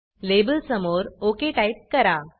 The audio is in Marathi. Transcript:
लेबलसमोर ओक टाईप करा